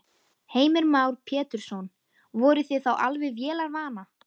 Heimir Már Pétursson: Voruð þið þá alveg vélarvana?